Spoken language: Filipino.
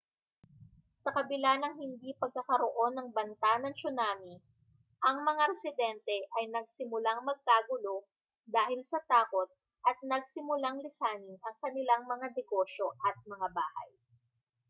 sa kabila ng hindi pagkakaroon ng banta ng tsunami ang mga residente ay nagsimulang magkagulo dahil sa takot at nagsimulang lisanin ang kanilang mga negosyo at mga bahay